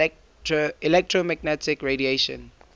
electromagnetic radiation